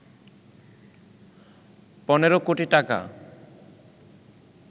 ১৫ কোটি টাকা